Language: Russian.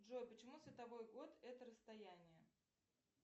джой почему световой год это расстояние